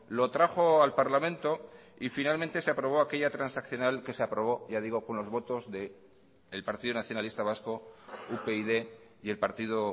lo trajo al parlamento y finalmente se aprobó aquella transaccional que se aprobó ya digo con los votos de el partido nacionalista vasco upyd y el partido